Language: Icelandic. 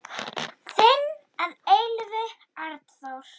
Þinn að eilífu, Arnþór.